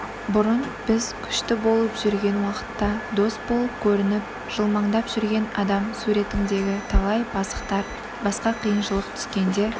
бұрын біз күшті болып жүрген уақытта дос болып көрініп жылмаңдап жүрген адам суретіндегі талай пасықтар басқа қиыншылық түскенде